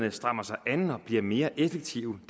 at stramme sig an og blive mere effektive